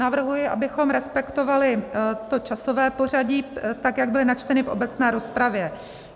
Navrhuji, abychom respektovali to časové pořadí, tak jak byla načtena v obecné rozpravě.